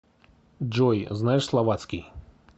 джой знаешь словацкий